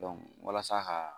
walasa ka